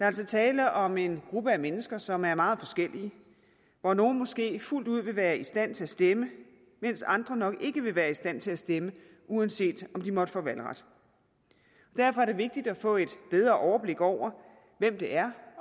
altså tale om en gruppe af mennesker som er meget forskellige hvor nogle måske fuldt ud vil være i stand til at stemme mens andre nok ikke vil være i stand til at stemme uanset om de måtte få valgret derfor er det vigtigt at få et bedre overblik over hvem det er